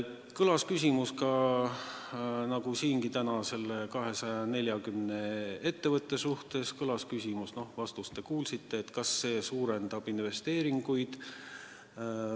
Kõlas küsimus, nagu siingi täna, nende 240 ettevõtte kohta – noh, vastust te kuulsite –, et kas see muudatus suurendab investeeringuid.